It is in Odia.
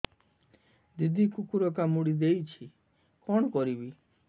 ଦିଦି କୁକୁର କାମୁଡି ଦେଇଛି କଣ କରିବି